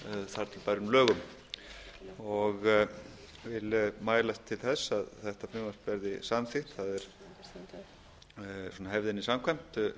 þar til bærum lögum ég vil mælast til þess að þetta frumvarp verði samþykkt það er hefðinni samkvæmt